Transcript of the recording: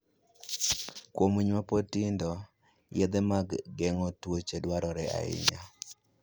Kuom winy ma pod tindo, yedhe mag geng'o kute dwarore ahinya.